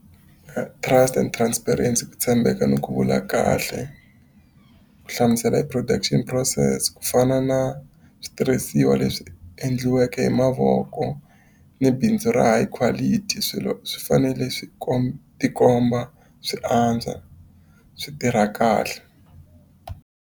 And transparency ku tshembeka ni ku vula kahle, ku hlamusela hi production process ku fana na switirhisiwa leswi endliweke hi mavoko ni bindzu ra hi quality. Swilo swi fanele swi tikomba swi antswa, swi tirha kahle.